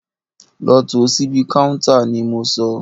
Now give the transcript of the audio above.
Lọ tò síbi káúntá ni mo sọ!